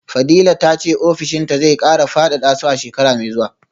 fadila tace ofishinta zai kara fadada su a shekara mai zuwa